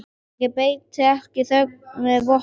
Ég beiti ekki þögn sem vopni.